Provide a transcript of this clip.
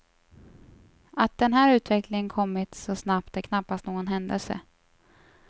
Att den här utvecklingen kommit så snabbt är knappast någon händelse.